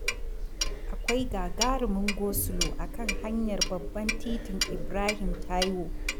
Akwai gagarumin gosulo a kan hanyar babban Titin Ibrahim Taiwo.